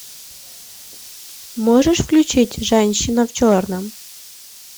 можешь включить женщина в черном